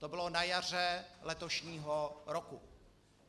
To bylo na jaře letošního roku.